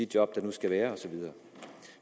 job der nu skal være og så videre